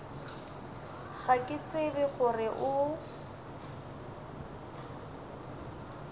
ga ke tsebe gore o